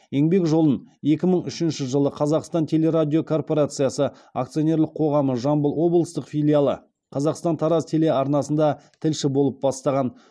еңбек жолын екі мың үшінші жылы қазақстан телерадиокорпорациясы акционерлік қоғамы жамбыл облыстық филиалы қазақстан тараз телеарнасында тілші болып бастаған